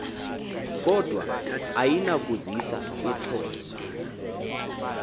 kodwa ayinakuzisa uxolo